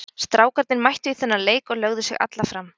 Strákarnir mættu í þennan leik og lögðu sig alla fram.